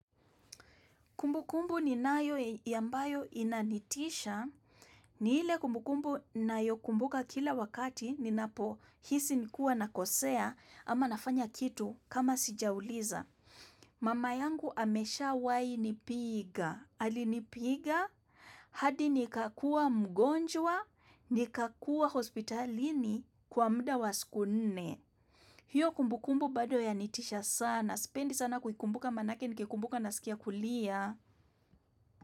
Kumbukumbu kumbu ni nayo yambayo inanitisha ni ile kumbukumbu nayo kumbuka kila wakati ni napo hisi nikuwa na kosea ama nafanya kitu kama sijauliza. Mama yangu ameshawai nipiga. Alinipiga hadi nikakua mgonjwa nikakua hospitalini kwa muda wa siku nne. Hiyo kumbukumbu bado ya nitisha sana. Spendi sana kukumbuka manake nikikumbuka na sikia kulia.